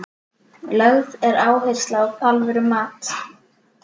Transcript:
Lögð er áhersla á alvöru mat.